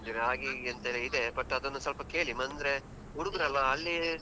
ಹಾಗೀಗೆ ಅಂತೆಲ್ಲಾ ಇದೆ, but ಅದನ್ನು ಸ್ವಲ್ಪ ಕೇಳಿ ಅಂದ್ರೆ ಹುಡುಗ್ರಲ್ವ ಅಲ್ಲಿ.